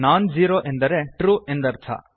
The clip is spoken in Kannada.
ನಾನ್ ಝೀರೋ ಎಂದರೆ ಟ್ರು ಎಂದರ್ಥ